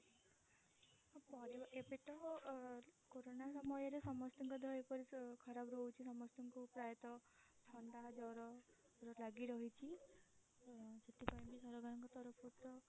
ହଁ ପରିବାର ଏବେ ତ କୋରୋନା ସମୟରେ ସମସ୍ତଙ୍କ ଦେହ ଏପରି ଖରାପ ରହୁଛି ସମସ୍ତଙ୍କୁ ପ୍ରାୟତ ଥଣ୍ଡା ଜର ଲାଗି ରହିଛି ତ ସେଥିପାଇଁ ବି ସରକାରଙ୍କ ତରଫ ରୁ ତ